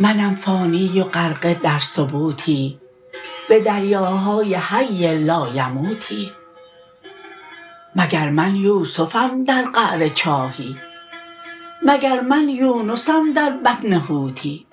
منم فانی و غرقه در ثبوتی به دریاهای حی لایموتی مگر من یوسفم در قعر چاهی مگر من یونسم در بطن حوتی